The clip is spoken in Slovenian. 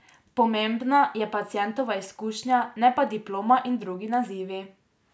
Pomembna je pacientova izkušnja, ne pa diploma in drugi nazivi.